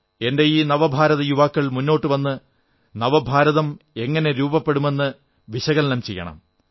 എന്റെ ഈ നവഭാരത യുവാക്കൾ മുന്നോട്ടു വന്ന് നവഭാരതം എങ്ങനെ രൂപപ്പെടുമെന്ന് വിശകലനം ചെയ്യണം